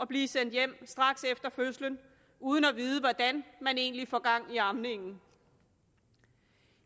blive sendt hjem uden at vide hvordan egentlig får gang i amningen